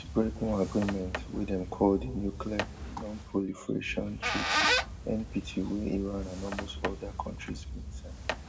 break one agreement wey dem call di nuclear non proliferation treatyNPT wey iran and almost all oda kontris bin sign